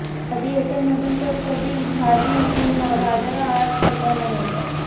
कधी एटीएममधून तर कधी भाजी किंवा बाजाररहाट करताना येतात